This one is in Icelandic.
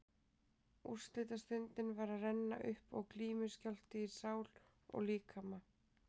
Úrslitastundin var að renna upp og glímuskjálfti í sál og líkama.